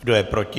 Kdo je proti?